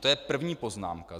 To je první poznámka.